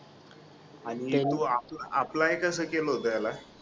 आणि आ apply कस केलं होत याला